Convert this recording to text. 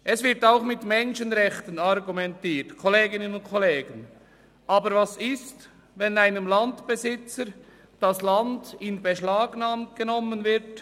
Es wird auch mit Menschenrechten argumentiert, aber was ist, wenn einem Landbesitzer das Land in Beschlag genommen wird?